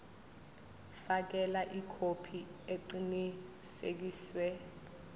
fakela ikhophi eqinisekisiwe